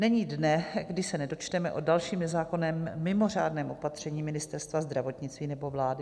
Není dne, kdy se nedočteme o dalším nezákonném mimořádném opatření Ministerstva zdravotnictví nebo vlády.